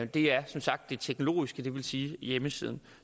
det er som sagt det teknologiske det vil sige hjemmesiden